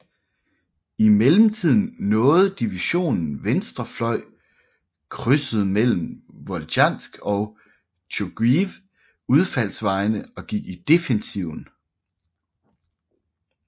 I mellemtiden nåede divisionen venstre fløj krydset mellem Voltjansk og Tjuguiv udfaldsvejene og gik i defensiven